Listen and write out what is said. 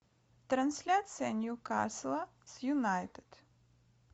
трансляция ньюкасла с юнайтед